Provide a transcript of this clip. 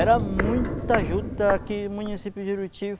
Era muita juta aqui no município de Juruti